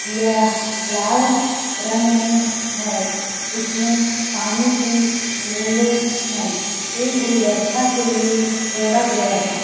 यह लाल रंग में हैं इसमें पानी की बुँदे हैं ये गुलदस्ता के लिए तोड़ा गया हैं।